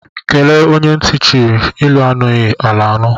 Kelee onye ntị chiri, elu anughi ala anu